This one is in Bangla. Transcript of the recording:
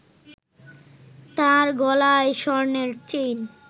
তার গলায় স্বর্ণের চেইন